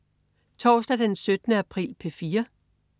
Torsdag den 17. april - P4: